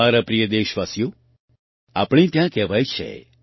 મારા પ્રિય દેશવાસીઓ આપણે ત્યાં કહેવાય છે